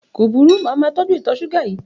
Kò burú, màá máa tọ́jú ìtọ̀ ṣúgà yìí.